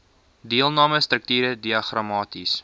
deelname strukture diagramaties